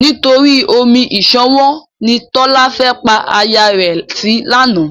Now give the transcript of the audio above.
Nítorí omi ìṣanwọ́ ni Tọ́lá fẹ́ pa aya rẹ̀ sí lánàá.